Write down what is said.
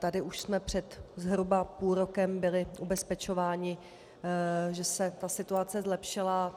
Tady už jsme před zhruba půl rokem byli ubezpečováni, že se ta situace zlepšila.